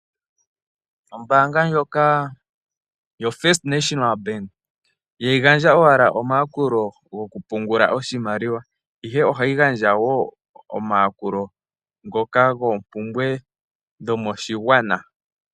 Ombaanga ndjoka yoFirst National Bank ihayi gandja owala omayakulo gokupungula oshimaliwa, ihe ohayi gandja wo omayakulo ngoka goompumbwe dhomoshigwana.